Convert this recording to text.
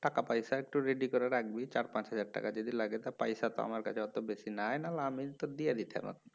টাকা পয়সা একটু ready করে রাখবি চার পাঁচ হাজার টাকা যদি লাগে তা পয়সা তো আমার কাছে অত বেশি নাই নাহলে আমিই তো দিয়ে দিতাম